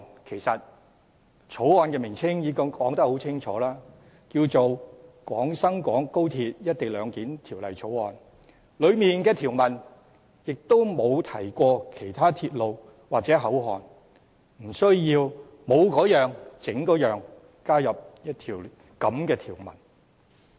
其實法案的名稱已經很清楚，名為"《廣深港高鐵條例草案》"，當中條文亦沒有提及其他鐵路或口岸，故無須多此一舉，加入這樣的一項條文。